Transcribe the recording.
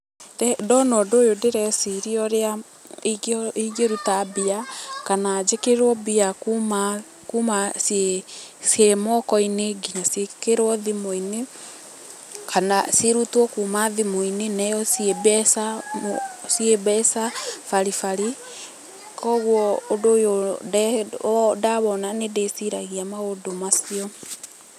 Ndona ũndũ ũyũ ndĩreciria ũrĩa ingĩruta mbia kana njikĩrĩrwo mbia kuma kuma ciĩ ciĩ moko-inĩ nginya ciĩkĩrwo thimũ-inĩ, kana cirutwo kuma thimũ-inĩ neyo ciĩ mbeca ciĩ mbeca baribari. Koguo ũndu ũyũ ndawona nĩ ndĩciragia maũndũ macio.